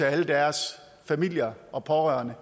alle deres familier og pårørende